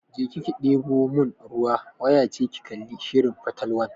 Je ki deɓo mun ruwa!waya ce ki kalli shirin fatalwan.